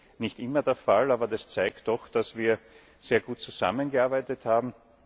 Das ist nicht immer der Fall, und es zeigt doch, dass wir sehr gut zusammengearbeitet haben.